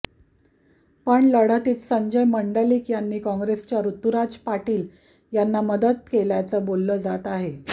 पण लढतीत संजय मंडलिक यांनी काँग्रेसच्या ऋतुराज पाटील यांना मदत केल्याचं बोललं जात आहे